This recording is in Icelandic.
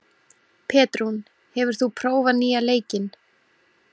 Petrún, hefur þú prófað nýja leikinn?